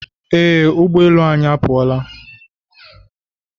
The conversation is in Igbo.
Ee ụgbọelu anyị apụọla